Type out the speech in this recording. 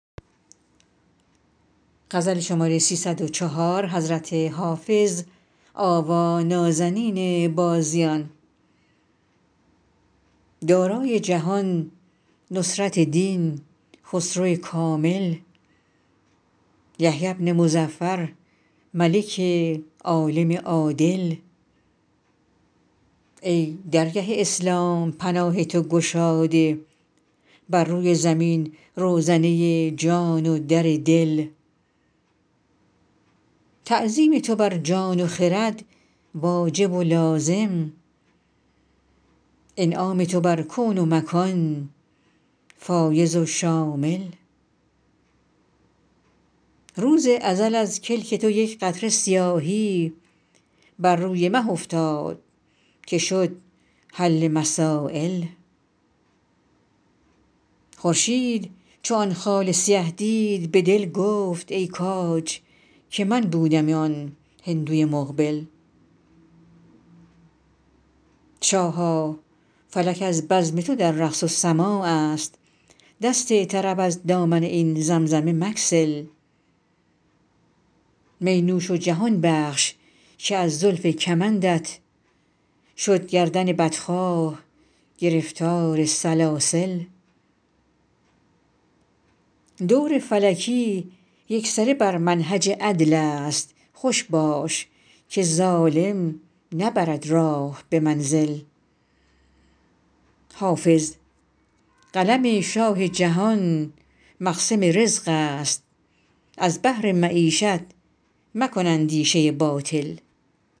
دارای جهان نصرت دین خسرو کامل یحیی بن مظفر ملک عالم عادل ای درگه اسلام پناه تو گشاده بر روی زمین روزنه جان و در دل تعظیم تو بر جان و خرد واجب و لازم انعام تو بر کون و مکان فایض و شامل روز ازل از کلک تو یک قطره سیاهی بر روی مه افتاد که شد حل مسایل خورشید چو آن خال سیه دید به دل گفت ای کاج که من بودمی آن هندوی مقبل شاها فلک از بزم تو در رقص و سماع است دست طرب از دامن این زمزمه مگسل می نوش و جهان بخش که از زلف کمندت شد گردن بدخواه گرفتار سلاسل دور فلکی یکسره بر منهج عدل است خوش باش که ظالم نبرد راه به منزل حافظ قلم شاه جهان مقسم رزق است از بهر معیشت مکن اندیشه باطل